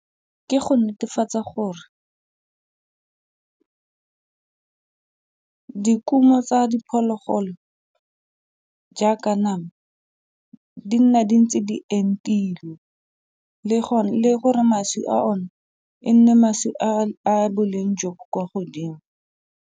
Ke go netefatsa gore dikumo tsa diphologolo jaaka nama di nna di ntse di entilwe le gore mašwi a one e nne mašwi a boleng jo bo kwa godimo.